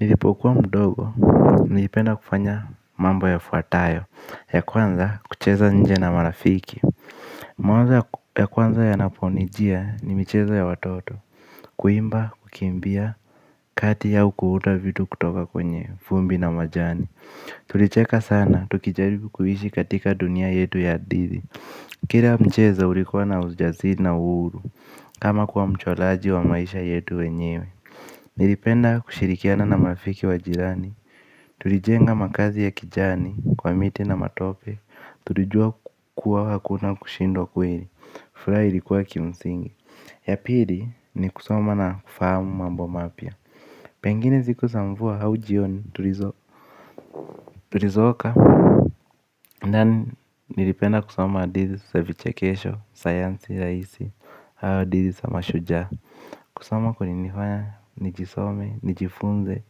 Nilipokuwa mdogo, nilipenda kufanya mambo ya fuatayo, ya kwanza kucheza nje na marafiki. Mawazo ya kwanza ya naponijia ni micheza ya watoto, kuimba, kukimbia. Kati ya au kuunda vitu kutoka kwenye, vumbi na majani. Tulicheka sana, tukijaribu kuishi katika dunia yetu ya hadithi. Kila mcheza ulikuwa na ujasiri na uhuru, kama kuwa mchoraji wa maisha yetu wenyewe. Nilipenda kushirikiana na marafiki wa jirani. Tulijenga makazi ya kijani kwa miti na matope. Tulijua kua hakuna kushindwa kweli. Furaha ilikuwa kimsingi. Ya pili ni kusoma na kufahamu mambo mapya. Pengine siku za mvua au jioni tulizoka. Ndani nilipenda kusoma hadithi za vichekesho, sayansi, rahisii au hadithii za mashujaa. Kusoma kuli nifanya nijisome, nijifunze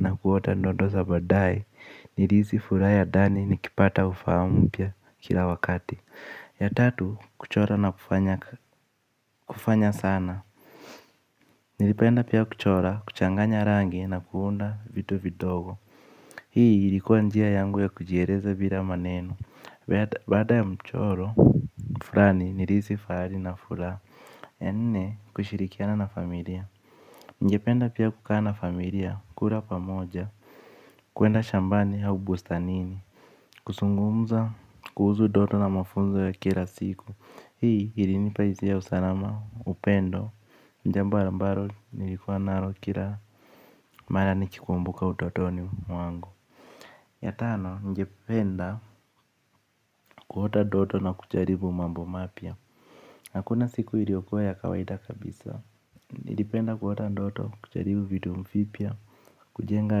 na kuota ndoto za badae nirisi furaa ya dani nikipata ufahamu mpya kila wakati. Ya tatu, kuchora na kufanya sana. Nilipenda pia kuchora, kuchanganya rangi na kuunda vitu vidogo. Hii ilikuwa njia yangu ya kujiereza bila maneno. Baada ya mchoro, furani nirisi faali na fura. Ya nne, kushirikiana na familia. Kura pamoja, kuenda shambani hau bustanini. Kusungumza, kuhuzu doto na mafunzo ya kila siku. Hii ili nipahizia ya usalama, upendo. Njamb ambaro nilikuwa naro kila mara nikikumbuka utotoni mwangu. Ya tano, ningependa kuota doto na kucharibu mambo mapya. Hakuna siku iliokuwa ya kawaida kabisa. Nilipenda kuota ndoto, kucharibu vitu fipya, kujenga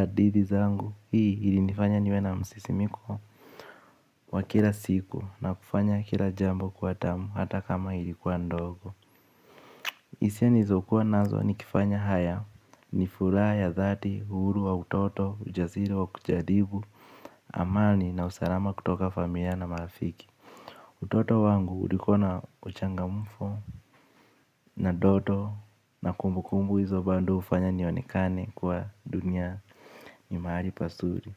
adithi zangu. Hii hili nifanya niwe na msisimiko wa kila siku na kufanya kila jambo kuwa tamu hata kama ilikuwa ndogo. Isia nilizokuwa nazo ni lkifanya haya ni fulaa ya dhati, uhuru wa utoto, ujaziri wa kujaribu, amani na usalama kutoka familia na marafiki. Utoto wangu ulikuwa na uchangamfu na doto na kumbukumbu izo bando ufanya nionekane kuwa dunia ni mahali pasuri.